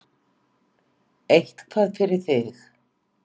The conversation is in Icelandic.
Eitthvað fyrir þig